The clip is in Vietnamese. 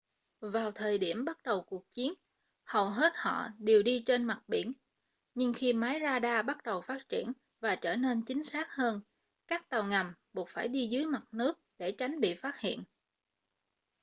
vào thời điểm bắt đầu cuộc chiến hầu hết họ đều đi trên mặt biển nhưng khi máy ra đa bắt đầu phát triển và trở nên chính xác hơn các tàu ngầm buộc phải đi dưới mặt nước để tránh bị phát hiện